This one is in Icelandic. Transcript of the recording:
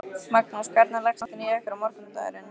Magnús: Hvernig leggst nóttin í ykkur og morgundagurinn?